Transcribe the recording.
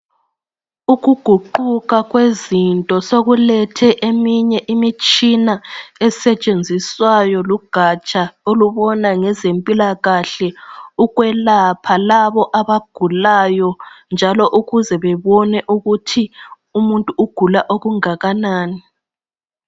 Ukuguquka kwezinto sokulethe eminye imitshina esetshenziswayo lugatsha olubona ngezempilakahle ukwelapha labo abagulayo njalo ukuze bebone ukuthi umuntu ugula okungakanani.